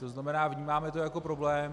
To znamená, vnímáme to jako problém.